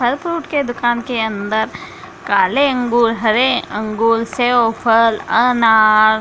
फल फ्रूट के दुकान के अंदर काले अंगूर हरे अंगूर सेब फल अनार--